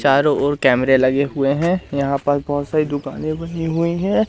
चारों ओर कैमरे लगे हुए हैं। यहां पास बहोत सारी दुकाने बनी हुई है।